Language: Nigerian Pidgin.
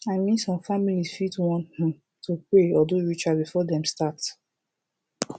i min som familiz fit wan um to pray or do rituals before dem start